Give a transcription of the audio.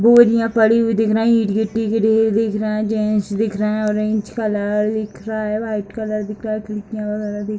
बोझ यहां पड़ी हुई दिख रही है गिट्टी गिड़ी हुई दिख रहा है जेंट्स दिख रहे है ऑरेंज कलर दिख रहा है व्हाइट कलर दिख रहा है खिड़कियां वगैरा भी --